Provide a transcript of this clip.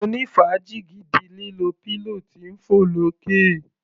Mo ní fàájì gidi lílo pillow tí ń fọ̀ lókè.